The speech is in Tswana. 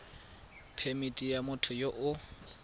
phemithi ya motho yo o